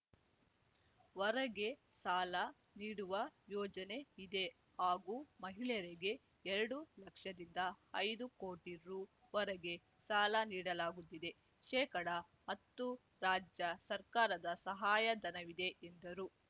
ವರೆಗೆ ಸಾಲ ನೀಡುವ ಯೋಜನೆ ಇದೆ ಹಾಗೂ ಮಹಿಳೆಯರಿಗೆ ಎರಡು ಲಕ್ಷದಿಂದ ಐದು ಕೋಟಿ ರು ವರೆಗೆ ಸಾಲ ನೀಡಲಾಗುತ್ತಿದೆ ಶೇಕಡ ಅತ್ತು ರಾಜ್ಯ ಸರ್ಕಾರದ ಸಹಾಯ ಧನವಿದೆ ಎಂದರು